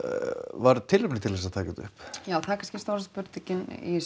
var tilefni til þess að taka þetta upp já það er kannski stóra spurningin í